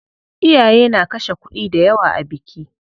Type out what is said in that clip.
Iyaye na kashe kuɗi dayawa a biki.